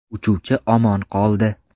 Uchuvchi omon qoldi.